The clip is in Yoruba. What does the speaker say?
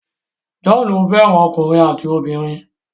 John fẹ́ràn ọkùnrin àti obìnrin.